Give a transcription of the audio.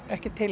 ekki er